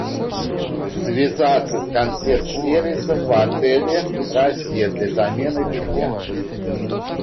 связаться с консьерж сервисом в отеле россия для замены белья